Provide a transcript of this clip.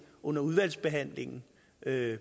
under udvalgsbehandlingen med